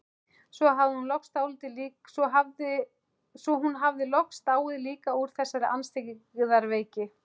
Svo hún hafði loks dáið líka úr þessari andstyggðar veiki.